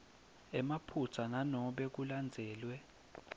emaphutsa nanobe kulandzelwe